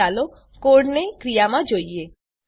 હવે ચાલો કોડને ક્રિયામાં જોઈએ